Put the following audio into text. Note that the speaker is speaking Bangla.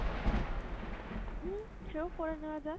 হম সে ও করে নেওয়া যায়।